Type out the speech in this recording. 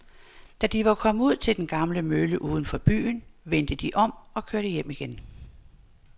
Da de var kommet ud til den gamle mølle uden for byen, vendte de om og kørte hjem igen.